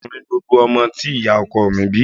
Ọkùnrin gbogbo ọmọ tí ìyá ọkọ mi bí